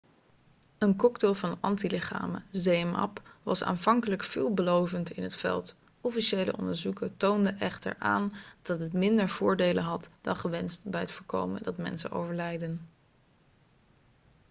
een cocktail van antilichamen zmapp was aanvankelijk veelbelovend in het veld officiële onderzoeken toonden echter aan dat het minder voordelen had dan gewenst bij het voorkomen dat mensen overlijden